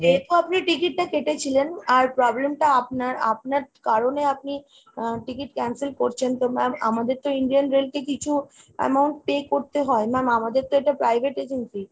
যেহেতু আপনি ticket টা কেটেছিলেন আর problem টা আপনার, আপনার কারণে আপনি আহ ticket cancel করছেন তো ma'am আমাদের তো Indian rail কে কিছু amount pay করতে হয়। ma'am আমাদের তো এটা private agency,